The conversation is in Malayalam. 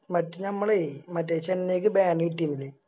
മറ്റേ ഞമ്മളെ മറ്റേ ചെന്നൈക്ക് Ban കിട്ടിന്നില്ലേ